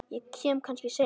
Ég kem kannski seinna